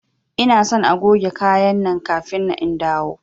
Ina son agoge kaya nan kafin in dawo!